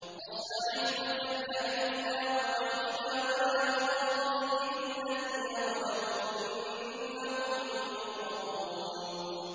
وَاصْنَعِ الْفُلْكَ بِأَعْيُنِنَا وَوَحْيِنَا وَلَا تُخَاطِبْنِي فِي الَّذِينَ ظَلَمُوا ۚ إِنَّهُم مُّغْرَقُونَ